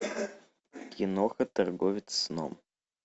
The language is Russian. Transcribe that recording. киноха торговец сном